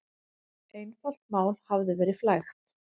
Einfalt mál hafi verið flækt.